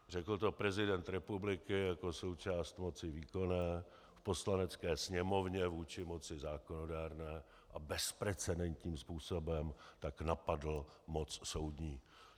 Řekl to prezident republiky jako součást moci výkonné v Poslanecké sněmovně vůči moci zákonodárné a bezprecedentním způsobem tak napadl moc soudní.